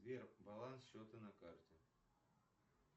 сбер баланс счета на карте